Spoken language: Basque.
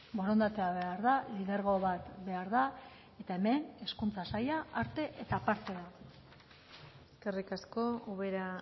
borondatea behar da lidergo bat behar da eta hemen hezkuntza saila arte eta parte da eskerrik asko ubera